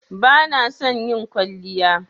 Bana son yin kwalliya.